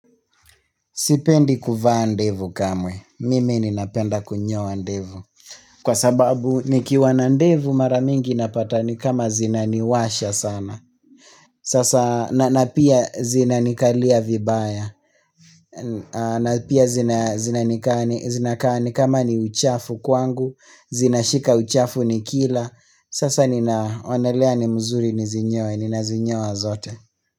Sipendi kuvaa ndevu kamwe, mimi ninapenda kunyoa ndevu. Kwa sababu nikiwa na ndevu mara mingi napata ni kama zinaniwasha sana. Sasa na na pia zinanikalia vibaya. Na pia zina zinanikaa ni zinakaa nikama ni uchafu kwangu, zinashika uchafu nikila Sasa ninaonelea ni mzuri nizinyoe, ninazinyoa zote.